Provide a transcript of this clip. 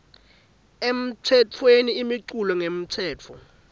emtsetfweni imiculu ngekwemtsetfo